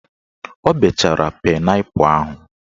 O bechara painaipu ahụ